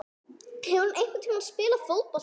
Hefur hann einhvern tíma spilað fótbolta?